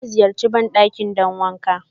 Na ziyarche bandakin don wanƙa